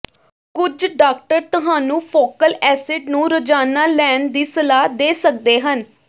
ਕੁਝ ਡਾਕਟਰ ਤੁਹਾਨੂੰ ਫੋਕਲ ਐਸਿਡ ਨੂੰ ਰੋਜ਼ਾਨਾ ਲੈਣ ਦੀ ਸਲਾਹ ਦੇ ਸਕਦੇ ਹਨ